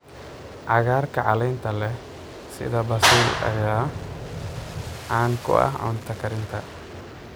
Cagaarka caleenta leh sida basil ayaa caan ku ah cunto karinta.